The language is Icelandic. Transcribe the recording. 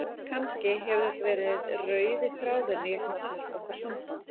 Kannski hefur þetta verið rauði þráðurinn í gegnum allt okkar samband.